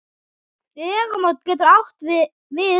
Vegamót getur átt við um